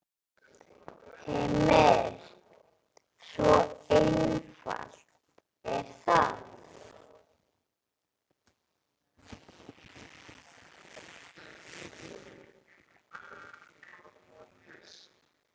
Heimir: Svo einfalt er það?